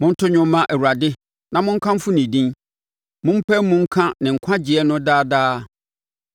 Monto dwom mma Awurade, na monkamfo ne din; mompae mu nka ne nkwagyeɛ no daa daa.